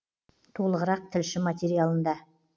толығырақ тілші материалында